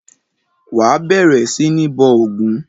Wà á bẹ̀rẹ̀ sí ní bọ ògún!